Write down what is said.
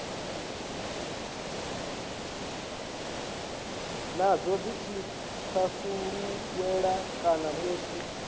nadzo dzi thasululwe kana musi